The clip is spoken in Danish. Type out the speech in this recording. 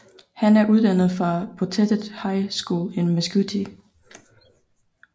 Han er uddannet fra Poteet High School i Mesquite